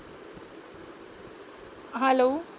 hello